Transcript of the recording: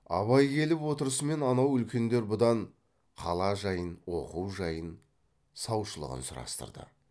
абай келіп отырысымен анау үлкендер бұдан қала жайын оқу жайын саушылығын сұрастырды